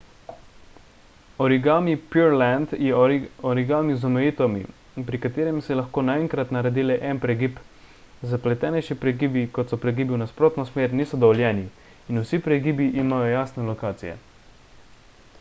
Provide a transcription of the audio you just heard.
origami pureland je origami z omejitvami pri katerem se lahko naenkrat naredi le en pregib zapletenejši pregibi kot so pregibi v nasprotno smer niso dovoljeni in vsi pregibi imajo jasne lokacije